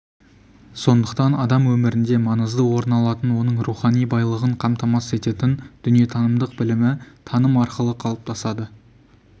сондықтан адам өмірінде маңызды орын алатын оның рухани байлығын қамтамасыз ететін дүниетанымдық білімі таным арқылы қалыптасады